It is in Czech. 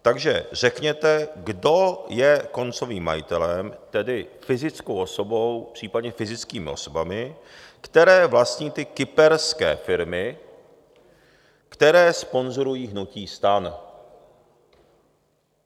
Takže řekněte, kdo je koncovým majitelem, tedy fyzickou osobou, případně fyzickými osobami, které vlastní ty kyperské firmy, které sponzorují hnutí STAN.